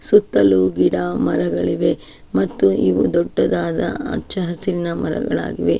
ಸುತ್ತಲೂ ಗಿಡ ಮರಗಳಿವೆ ಮತ್ತು ಇವು ದೊಡ್ಡದಾದ ಹಹಚ್ಚ ಹಸಿರಿನ ಮರಗಳಾಗಿವೆ.